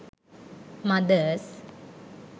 mothers